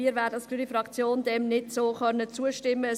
Wir von der Fraktion Grüne werden dem so nicht zustimmen können.